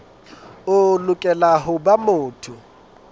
o lokela ho ba motho